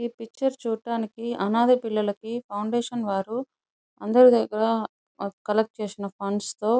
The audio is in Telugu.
ఈ పిక్చర్ చూడటానికి అనాధ పిల్లలకి ఫౌండేషన్ వారు అందరి దగ్గర కలెక్ట్ చేసిన ఫండ్స్ తో --